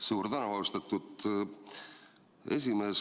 Suur tänu, austatud esimees!